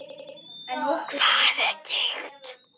Hvað er gigt?